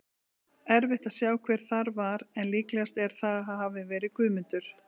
Erfitt að sjá hver það var en líklegast er að það hafi verið Guðmundur.